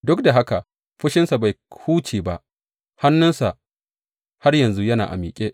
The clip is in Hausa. Duk da haka, fushinsa bai huce ba, hannunsa har yanzu yana a miƙe.